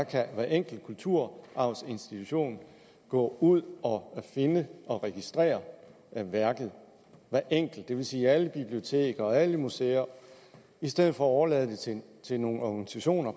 kan hver enkelt kulturarvsinstitution gå ud og finde og registrere værket hver enkelt institution det vil sige alle biblioteker og alle museer i stedet for overlader det til til nogle organisationer